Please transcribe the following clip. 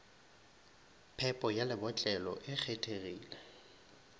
phepo ya lebotlelo e kgethegile